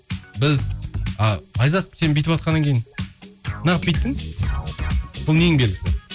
біз айзат сен бүйтіватқаннан кейін неағып бүйттің бұл ненің белгісі